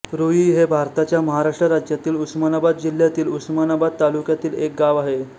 रूई हे भारताच्या महाराष्ट्र राज्यातील उस्मानाबाद जिल्ह्यातील उस्मानाबाद तालुक्यातील एक गाव आहे